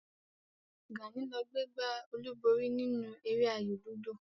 Gàní ló gbé gbá olúborí nínú eré ayò lúdò